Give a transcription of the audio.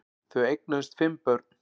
Þau eignuðust fimm börn